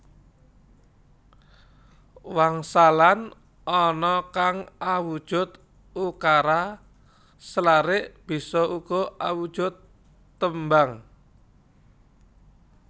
Wangsalan ana kang awujud ukara selarik bisa uga awujud tembang